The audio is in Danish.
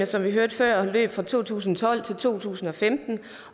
som vi hørte før fra to tusind og tolv til to tusind og femten